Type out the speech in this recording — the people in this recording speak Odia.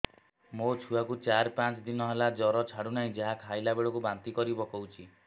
ମୋ ଛୁଆ କୁ ଚାର ପାଞ୍ଚ ଦିନ ହେଲା ଜର ଛାଡୁ ନାହିଁ ଯାହା ଖାଇଲା ବେଳକୁ ବାନ୍ତି କରି ପକଉଛି